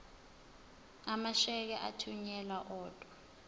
amasheke athunyelwa odwa